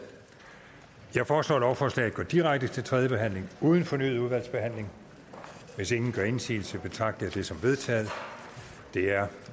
jeg foreslår at lovforslaget går direkte til tredje behandling uden fornyet udvalgsbehandling hvis ingen gør indsigelse betragter jeg det som vedtaget det er